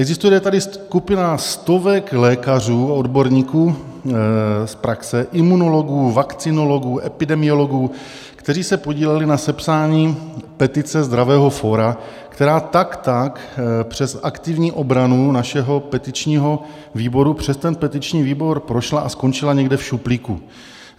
Existuje tady skupina stovek lékařů, odborníků z praxe, imunologů, vakcinologů, epidemiologů, kteří se podíleli na sepsání petice Zdravého fóra, která tak tak přes aktivní obranu našeho petičního výboru přes ten petiční výbor prošla a skončila někde v šuplíku.